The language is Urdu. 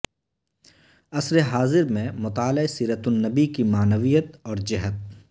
عصر حاضر میں مطالعہ سیرت النبی کی معنویت اور جہت